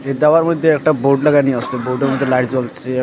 এই দাওয়ার মধ্যে একটা বোর্ড লাগানি আছে বোর্ডের মধ্যে লাইট জ্বলছে।